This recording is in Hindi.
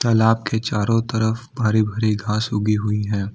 तलाब के चारों तरफ भरी भरी घास उगी हुई है।